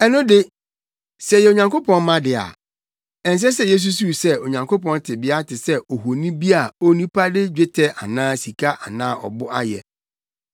“Ɛno de, sɛ yɛyɛ Onyankopɔn mma de a, ɛnsɛ sɛ yesusuw sɛ Onyankopɔn tebea te sɛ ohoni bi a onipa de dwetɛ anaa sika anaa ɔbo ayɛ.